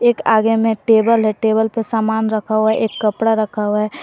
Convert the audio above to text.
एक आगे में टेबल है टेबल पे सामान रखा हुआ है एक कपड़ा रखा हुआ है।